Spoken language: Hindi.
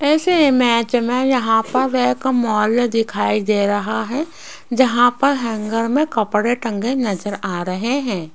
इस इमेज में यहां पर एक मॉल दिखाई दे रहा है जहां पर हैंगर में कपड़े टंगे नजर आ रहे हैं।